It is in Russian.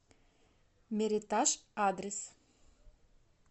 меритаж адрес